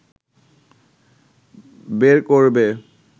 বের করবে